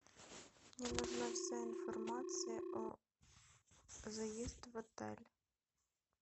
мне нужна вся информация о заезд в отель